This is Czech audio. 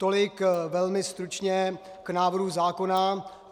Tolik velmi stručně k návrhu zákona.